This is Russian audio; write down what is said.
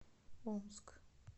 омск